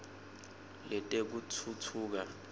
letekutfutfuka